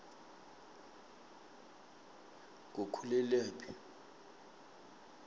ngukhulelaphi